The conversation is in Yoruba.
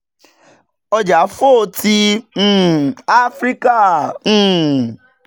ọja fo ti um afirika um